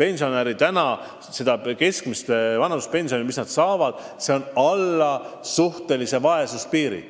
inimest – saab keskmist vanaduspensioni, mis paraku jääb alla suhtelise vaesuse piiri.